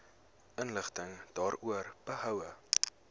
inligting daaroor behoue